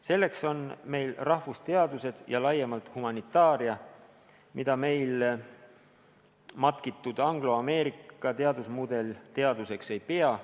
Selleks on meil rahvusteadused ja laiemalt humanitaaria, mida meil matkitud angloameerika teadusmudel teaduseks ei pea.